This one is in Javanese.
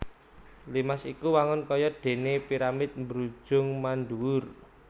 Limas iku wangun kaya déné piramid mbrujung mandhuwur